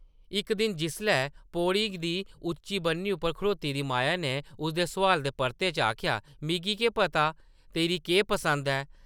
इक दिन जिसलै पौड़ी दी उच्ची बन्नी उप्पर खड़ोती दी माया नै उसदे सोआला दे परते च आखेआ, ‘‘मिगी केह् पता तेरी केह् पसंद ऐ ?’’